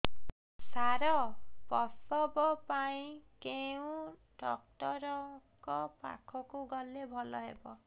ସାର ପ୍ରସବ ପାଇଁ କେଉଁ ଡକ୍ଟର ଙ୍କ ପାଖକୁ ଗଲେ ଭଲ ହେବ